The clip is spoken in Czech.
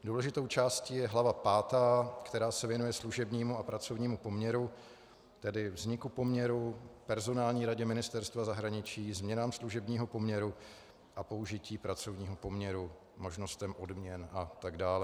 Důležitou částí je hlava pátá, která se věnuje služebnímu a pracovnímu poměru, tedy vzniku poměru, personální radě Ministerstva zahraničí, změnám služebního poměru a použití pracovního poměru, možnostem odměn a tak dále.